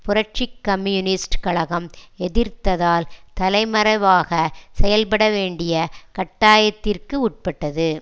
புரட்சி கம்யூனிஸ்ட் கழகம் எதிர்த்ததால் தலைமறைவாக செயல்படவேண்டிய கட்டாயத்திற்கு உட்பட்டது